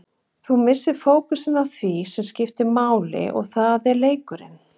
Þú missir fókusinn á því sem skiptir máli og það er leikurinn.